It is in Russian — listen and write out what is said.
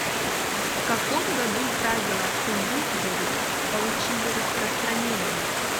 в каком году правила куинсберри получили распространение